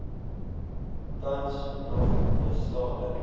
tans nog bestaande